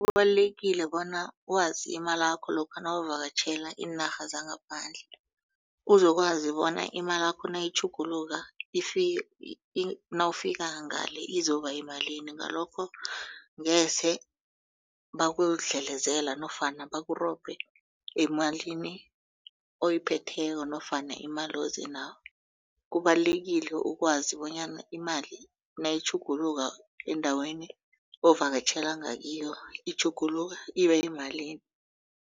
Kubalulekile bona wazi imalakho lokha nawuvakatjhela iinarha zangaphandle uzokwazi bona imalakho nayitjhuguluka nawufika ngale izoba yimalini ngalokho ngeze bakudlelezela nofana bakurobhe emalini oyiphetheko nofana imali ozenawo. Kubalulekile ukwazi bonyana imali nayitjhuguluka endaweni ovakatjhela ngakiyo itjhuguluka iba yimalini.